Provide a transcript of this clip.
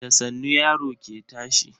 Da sannu yaro ke tashi.